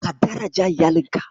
Ka daraja iyalinka.